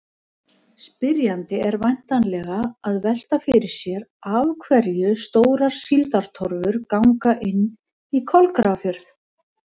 Spyrjandi er væntanlega að velta fyrir sér af hverju stórar síldartorfur ganga inn í Kolgrafafjörð.